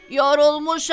Yorulmuşam!